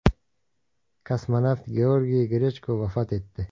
Kosmonavt Georgiy Grechko vafot etdi.